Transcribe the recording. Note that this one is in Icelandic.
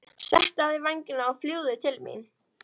Settu á þig vængina og fljúgðu til mín.